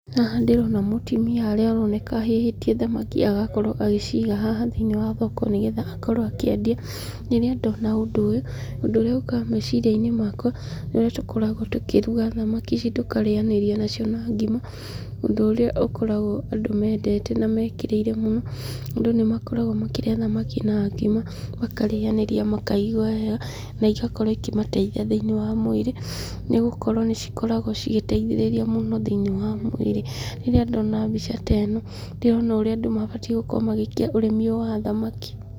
Haha ndĩrona mũtumia harĩa aroneka ahĩhĩtie thamaki agakorwo agĩciga haha thĩinĩ wa thoko nĩgetha akorwo akĩendia. Rĩrĩa ndona ũndũ ũyũ, ũndũ ũrĩa ũkaga meciria-inĩ makwa, nĩ ũrĩa tũkoragwo tũkĩruga thamaki ici tũkarĩanĩria nacio na ngima, ũndũ ũrĩa ũkoragwo andũ mendete na mekĩrĩire mũno, andũ nĩ makoragwo makĩrĩa thamaki na ngima, makarĩanĩria makaigwa wega, na igakorwo ikĩmateithia thĩinĩ wa mwĩrĩ, nĩ gũkorwo nĩ cikoragwo cigĩteithĩrĩria mũno thĩinĩ wa mwĩrĩ. Rĩrĩa ndona mbica ta ĩno ndĩrona ũrĩa andũ mabatiĩ gũkorwo magĩĩka ũrĩmi ũyũ wa thamaki.